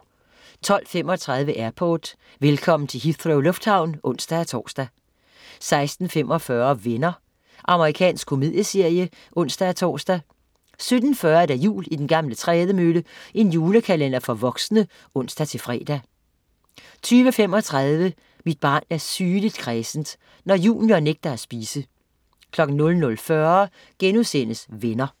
12.35 Airport. Velkommen til Heathrow lufthavn. (ons-tors) 16.45 Venner. Amerikansk komedieserie (ons-tors) 17.40 Jul i den gamle trædemølle. julekalender for voksne (ons-fre) 20.35 Mit barn er sygeligt kræsent. Når junior nægter at spise 00.40 Venner*